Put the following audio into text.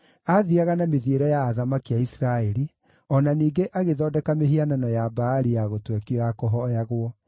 Aathiiaga na mĩthiĩre ya athamaki a Isiraeli, o na ningĩ agĩthondeka mĩhianano ya Baali ya gũtwekio ya kũhooyagwo.